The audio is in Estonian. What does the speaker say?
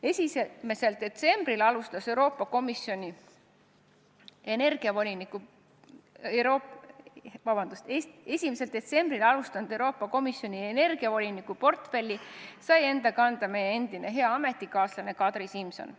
1. detsembril tööd alustanud Euroopa Komisjoni energiavoliniku portfelli sai endale meie endine hea ametikaaslane Kadri Simson.